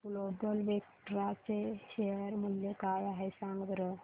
आज Global Vectra चे share मूल्य काय आहे सांगा बरं